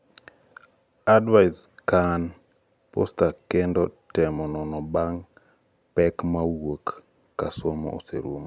advais kamn postaskendo tem nono bang'e pek mawuoke ka somo oserumo